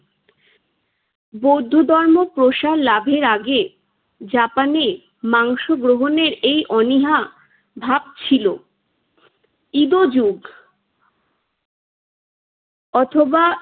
বৌদ্ধ ধর্ম প্রসার লাভের আগে জাপানে মাংস গ্রহণের এই অনীহাভাব ছিল। ইদোযোগ অথবা